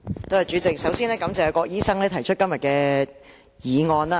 主席，首先感謝郭家麒議員提出今天這項議案。